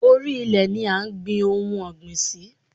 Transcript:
Orí ilẹ̀ ni à ń gbin ohun ọ̀gbìn sí.